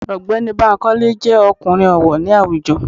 Ọ̀gbẹ́ni Bankole jẹ́ ọkùnrin ọ̀wọ̀ ní àwùjọ.